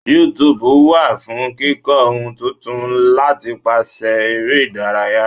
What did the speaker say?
YouTube wa fún kíkó ohun tuntun látipàṣẹ ere ìdárayá.